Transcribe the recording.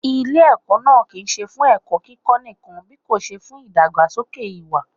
Ilé ẹ̀kọ́ náà kì ń ṣe fún ẹ̀kọ́ kíkó nìkan bíkòṣe fún ìdàgbàsókè ìwà.